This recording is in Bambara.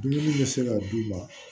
Dumuni bɛ se ka d'u ma